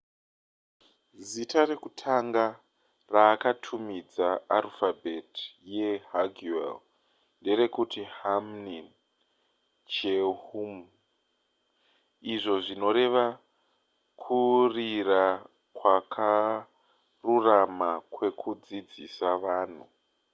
zita rekutanga raakatumidza arufabheti yehangeul nderekuti hunmin jeongeum izvo zvinoreva kurira kwakarurama kwekudzidzisa vanhu